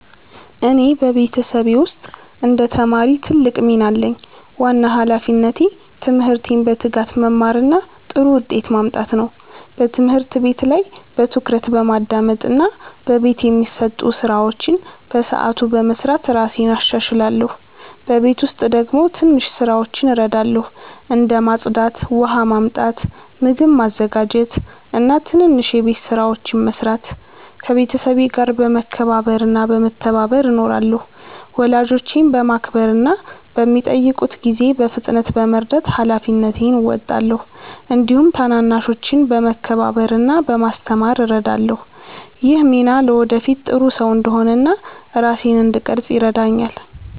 እኔ በቤተሰቤ ውስጥ እንደ ተማሪ ትልቅ ሚና አለኝ። ዋና ሃላፊነቴ ትምህርቴን በትጋት መማር እና ጥሩ ውጤት ማምጣት ነው። በትምህርት ቤት ላይ በትኩረት በማዳመጥ እና በቤት የሚሰጡ ስራዎችን በሰዓቱ በመስራት እራሴን እሻሻላለሁ። በቤት ውስጥ ደግሞ ትንሽ ስራዎችን እረዳለሁ፣ እንደ ማጽዳት፣ ውሃ ማመጣት፣ ምግብ ማዘጋጀት እና ትናንሽ የቤት ስራዎችን መስራት። ከቤተሰቤ ጋር በመከባበር እና በመተባበር እኖራለሁ። ወላጆቼን በማክበር እና በሚጠይቁት ጊዜ በፍጥነት በመርዳት ሃላፊነቴን እወጣለሁ። እንዲሁም ታናናሾችን በመከባበር እና በማስተማር እረዳለሁ። ይህ ሚና ለወደፊት ጥሩ ሰው እንድሆን እና ራሴን እንድቀርፅ ይረዳኛል።